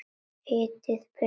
Hitið pönnu með olíu.